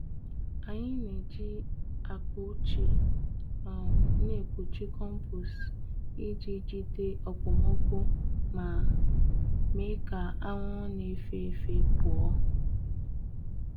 Anyị n'eji akpa ochie um n'ekpuchi kọmpost iji jide okpomọkụ ma mee ka ahụhụ n'efefe pụọ.